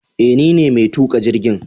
Eh nine mai tuka jirgin